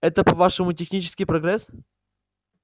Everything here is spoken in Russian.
это по-вашему технический прогресс